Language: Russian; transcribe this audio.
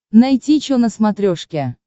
найти че на смотрешке